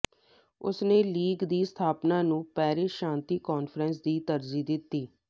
ਉਸਨੇ ਲੀਗ ਦੀ ਸਥਾਪਨਾ ਨੂੰ ਪੈਰਿਸ ਸ਼ਾਂਤੀ ਕਾਨਫਰੰਸ ਦੀ ਤਰਜੀਹ ਦਿੱਤੀ